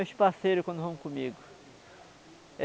meus parceiro, quando vão comigo.